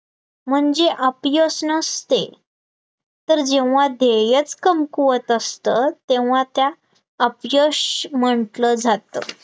म्हणजे अपयश नसते, तर जेव्हा देय कमकुवत असतात तेव्हा त्या अपयश म्हटलं जातं,